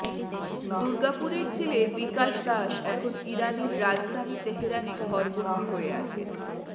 দুর্গাপুরের ছেলে বিকাশ দাস এখন ইরানের রাজধানী তেহেরানে ঘরবন্দি হয়ে আছেন